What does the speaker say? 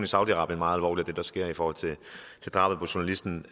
saudi arabien og det der sker i forhold til drabet på journalisten